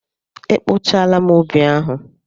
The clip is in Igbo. E kpochaala m ubi ahụ.